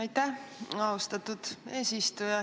Aitäh, austatud eesistuja!